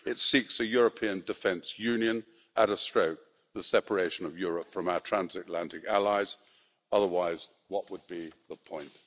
it seeks a European defence union at a stroke, the separation of Europe from our transatlantic allies, otherwise what would be the point?